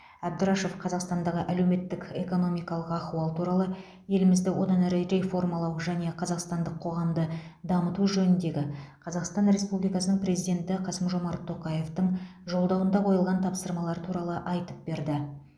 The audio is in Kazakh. әбдрашов қазақстандағы әлеуметтік экономикалық ахуал туралы елімізді одан әрі реформалау және қазақстандық қоғамды дамыту жөніндегі қазақстан республикасының президенті қасым жомарт тоқаевтың жолдауында қойылған тапсырмалар туралы айтып берді